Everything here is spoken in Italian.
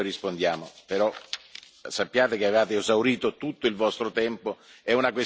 Virkkunen, e poi rispondiamo, però sappiate che avevate esaurito tutto il vostro tempo.